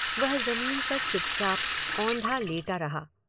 वह ज़मीन पर चुपचाप औंधा लेटा रहा।